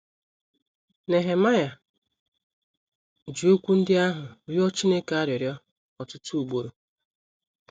Nehemaịa ji okwu ndị ahụ rịọ Chineke arịrịọ ọtụtụ ugboro.